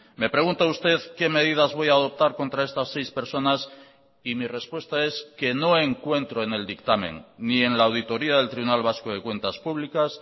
me pregunta usted qué medidas voy a adoptar contra estas seis personas y mi respuesta es que no encuentro en el dictamen ni en la auditoria del tribunal vasco de cuentas públicas